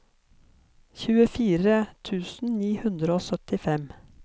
tjuefire tusen ni hundre og syttifem